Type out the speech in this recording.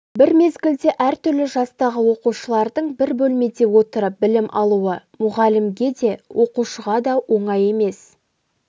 бір мезгілде әртүрлі жастағы оқушылардың бір бөлмеде отырып білім алуы мұғалімге де оқушыға да оңай емес